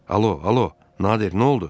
Alo, alo, Nadir, nə oldu?